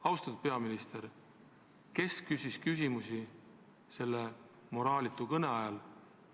Austatud peaminister: kes küsis küsimusi selle moraalitu kõne ajal?